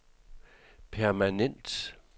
permanent